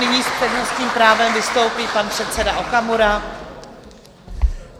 Nyní s přednostním právem vystoupí pan předseda Okamura.